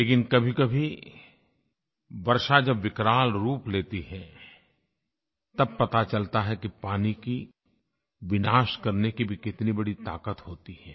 लेकिन कभीकभी वर्षा जब विकराल रूप लेती है तब पता चलता है कि पानी की विनाश करने की भी कितनी बड़ी ताक़त होती है